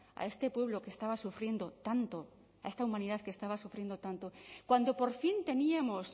a este pueblo que estaba sufriendo tanto a esta humanidad que estaba sufriendo tanto cuando por fin teníamos